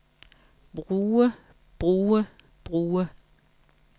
bruge bruge bruge